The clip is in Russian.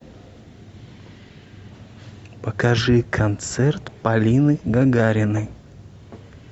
покажи концерт полины гагариной